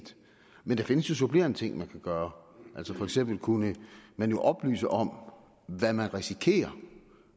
men der findes jo supplerende ting man kan gøre for eksempel kunne man oplyse om hvad man risikerer